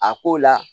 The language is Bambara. A ko la